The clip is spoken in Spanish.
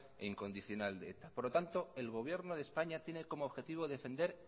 e incondicional de eta por lo tanto el gobierno de españa tiene como objetivo defender